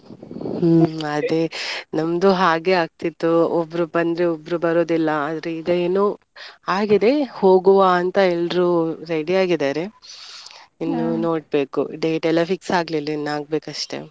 ಹ್ಮ್ ಅದೇ ನಮ್ದು ಹಾಗೆ ಆಗ್ತಿತ್ತು ಒಬ್ರು ಬಂದ್ರೆ ಒಬ್ರು ಬರುದಿಲ್ಲ ಆದ್ರೆ ಇದೆನೋ ಆಗಿದೆ ಹೋಗುವ ಅಂತ ಎಲ್ರು ready ಆಗಿದಾರೆ ಇನ್ನು ನೋಡ್ಬೇಕು date ಎಲ್ಲ fix ಆಗ್ಲಿಲ್ಲ ಇನ್ನ ಆಗ್ಬೇಕಷ್ಟೆ.